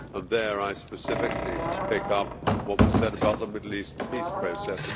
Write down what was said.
There I specifically pick up what was said about the Middle East peace process.